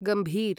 गम्भीर्